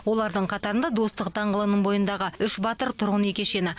олардың қатарында достық даңғылының бойындағы үш батыр тұрғын үй кешені